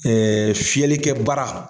fiyɛli kɛ bara.